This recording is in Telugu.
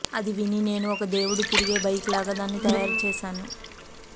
అది విని నేను ఒక దేవుడు తిరిగే బైక్ లాగా దాన్ని తయారు చేసాను